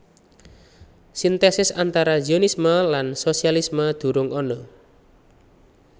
Sintèsis antara Zionisme lan sosialisme durung ana